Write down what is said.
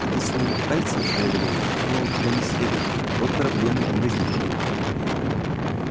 а ты своим пальцем шаловливым ткнула куда не следует вот проблемы и возникли